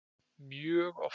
Mjög oft.